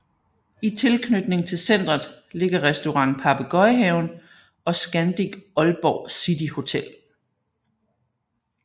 I tilknytning til centret ligger Restaurant Papegøjehaven og Scandic Aalborg City Hotel